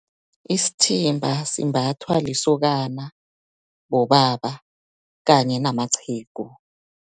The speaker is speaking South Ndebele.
Isithimba, simbathwa lisokana, bobaba kanye namaqhegu.